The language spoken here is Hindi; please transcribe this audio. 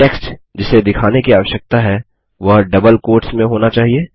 टेक्स्ट जिसे दिखाने की आवश्यकता है वह डबल क्वोट्स में होना चाहिए